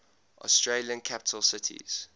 australian capital cities